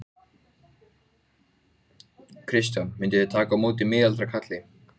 Þóra: Á allra næstu dögum kannski?